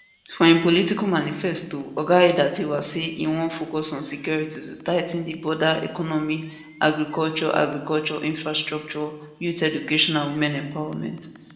for im political manifesto oga aiyetidawa say e wan focus on security to tigh ten di border economy agriculture agriculture infrastructure youth education and women empowerment